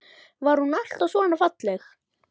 Var hún alltaf svona falleg?